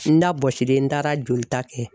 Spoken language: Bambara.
N da bɔsilen n taara jolita kɛ.